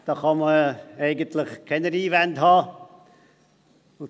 Da kann man eigentlich keine Einwände haben.